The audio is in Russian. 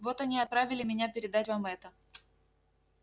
вот они и отправили меня передать вам это